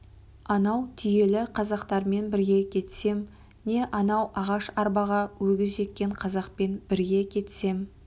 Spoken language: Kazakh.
анау түйелі қазақтармен бірге кетсем не анау ағаш арбаға өгіз жеккен қазақпен бірге кетсем